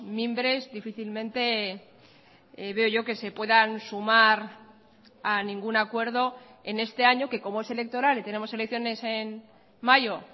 mimbres difícilmente veo yo que se puedan sumar a ningún acuerdo en este año que como es electoral y tenemos elecciones en mayo